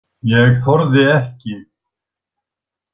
Ég þorði ekki.